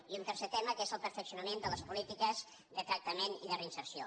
i un tercer tema que és el perfeccionament de les polítiques de tractament i de reinserció